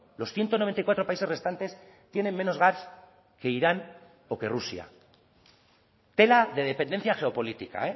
los ciento noventa y cuatro países restantes tienen menos gas que irán o que rusia tela de dependencia geopolítica